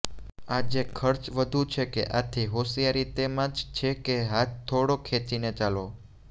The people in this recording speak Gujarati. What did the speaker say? આજે ખર્ચ વધુ છે આથી હોશિયારી તેમાં જ છે કે હાથ થોડો ખેંચીને ચાલો